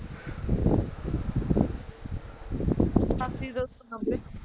ਉਣਾਸੀ ਦੋ ਸੋ ਨੱਬੇ